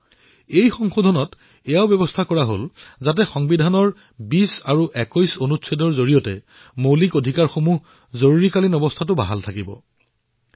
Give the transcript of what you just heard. এই সংশোধনীত ইয়াৰো ব্যৱস্থা কৰা হল যে সংবিধানৰ অনুচ্ছেদ ২০ আৰু ২১ৰ অধীনত পোৱা মৌলিক অধিকাৰসমূহ জৰুৰীকালীন অৱস্থাতো নিষেধৰ সন্মুখীন হব নোৱাৰিব